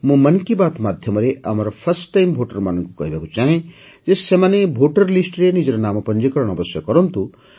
ମୁଁ ମନ୍ କି ବାତ୍ ମାଧ୍ୟମରେ first time voter ମାନଙ୍କୁ କହିବାକୁ ଚାହେଁ ଯେ ସେମାନେ ଭୋଟର ଲିଷ୍ଟରେ ନିଜର ନାମ ପଞ୍ଜୀକରଣ ଅବଶ୍ୟ କରନ୍ତୁ